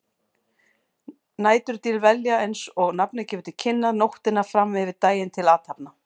Næturdýr velja, eins og nafnið gefur til kynna, nóttina fram yfir daginn til athafna.